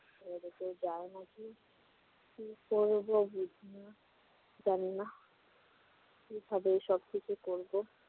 গায়ে মাখিয়ে কি করব বুঝি না, জানি না কিভাবে সবকিছু করব?